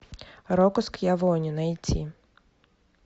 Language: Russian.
рокко скьявоне найти